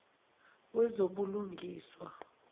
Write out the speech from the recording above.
wezobulungiswa